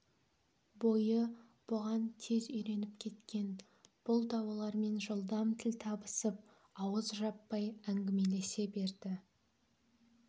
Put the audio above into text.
бойы бұған тез үйреніп кеткен бұл да олармен жылдам тіл табысып ауыз жаппай әңгімелесе берді